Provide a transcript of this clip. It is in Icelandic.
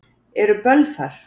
Eru böll þar?